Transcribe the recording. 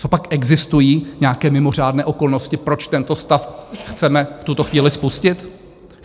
Copak existují nějaké mimořádné okolnosti, proč tento stav chceme v tuto chvíli spustit?